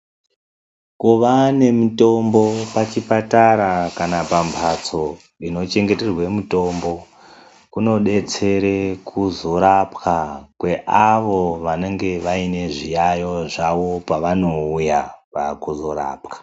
Kuva nemitombo pachipatara kana pamhatso inochengeterwa mitombo, kunodetsere kuzorapwa kweavo vanenge vaine zviyayo zvavo pevanouya kuzorapwa.